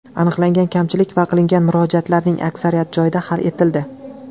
Aniqlangan kamchilik va qilingan murojaatlarning aksariyati joyida hal etildi.